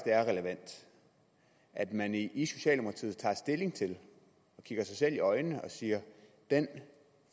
er relevant at man i i socialdemokratiet kigger sig selv i øjnene og siger den